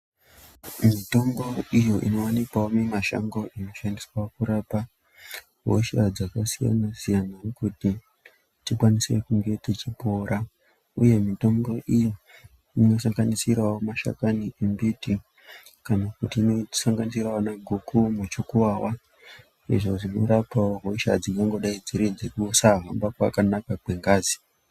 Mitombo iyo inowanikwavo mumashango inoshandiswaa kurapa hosha dzakasiyana- siyana kuti tikwanise kunge tichiporaa uye mitombo iyi inosanganisiravo mashakani embiti kana kuti inosanganisiravo vanaguku nemuchukuvava zvinorapavo hosha dzingangodai dziri dzekusahamba kwakanaka kwengazi.